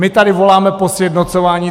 My tady voláme po sjednocování.